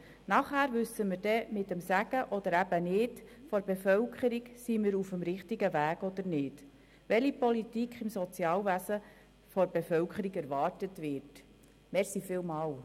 Danach wissen wir mit oder ohne den Segen der Bevölkerung, ob wir auf dem richtigen Weg sind und welche Politik die Bevölkerung im Sozialwesen erwartet.